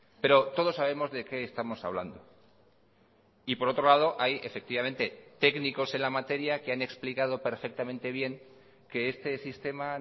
pero todos sabemos de qué estamos hablando y por otro lado hay efectivamente técnicos en la materia que han explicado perfectamente bien que este sistema